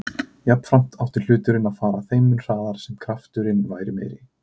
Jafnframt átti hluturinn að fara þeim mun hraðar sem kraft-urinn væri meiri.